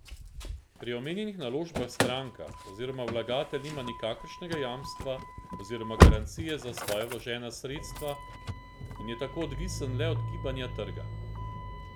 Pri omenjenih naložbah stranka oziroma vlagatelj nima nikakršnega jamstva oziroma garancije za svoja vložena sredstva in je tako odvisen le od gibanja trga.